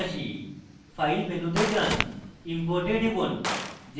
file মেনুতে যান import এ টিপুন